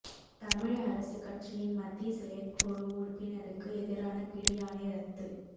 தமிழ் அரசுக் கட்சியின் மத்திய செயற்குழு உறுப்பினருக்கு எதிரான பிடியாணை இரத்து